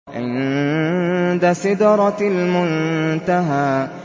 عِندَ سِدْرَةِ الْمُنتَهَىٰ